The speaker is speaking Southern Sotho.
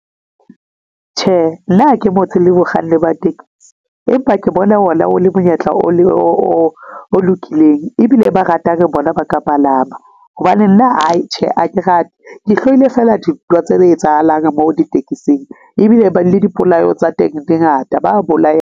Tjhe, nna ha ke motho le bakganni ba taxi, empa ke bona o na o le monyetla o lokileng ebile ba ratang bona ba ka palama hobane nna aai tjhe, ha ke rate ke hlohile feela ditaba tse etsahalang mo ditekesing ebile le dipolao tsa teng di ngata ba bolaya.